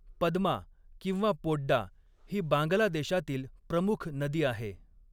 पद्मा किंवा पोड्डा ही बांगलादेशातील प्रमुख नदी आहे.